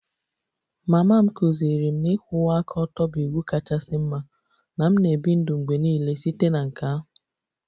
Mama m kụziiri m na ịkwụwa aka ọtọ bụ iwu kachasị mma na m na-ebi ndụ mgbe niile site na nke ahụ